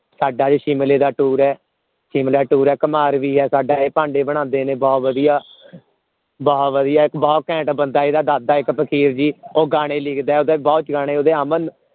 ਸਾਡਾ ਅੱਜ ਸ਼ਿਮਲੇ ਦਾ tour ਹੈ ਸ਼ਿਮਲੇ ਦਾ tour ਹੈ ਕੁਮਿਹਾਰ ਵੀ ਹੈ ਸਾਡਾ ਇਹ ਭਾਂਡੇ ਬਣਾਉਂਦੇ ਨੇ ਬਹੁਤ ਵਧੀਆ ਬਹੁਤ ਵਧੀਆ ਬਹੁਤ ਘੈਂਟ ਬੰਦਾ ਇਹਦਾ ਦਾਦਾ ਇੱਕ ਫ਼ਕੀਰ ਸੀ ਉਹ ਗਾਣੇ ਲਿਖਦਾ ਹੈ ਓਹਦੇ ਗਾਣੇ ਬਹੁਤ ਅਮਲ